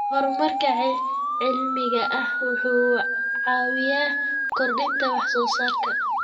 Horumarka cilmiga ah wuxuu caawiyaa kordhinta wax soo saarka.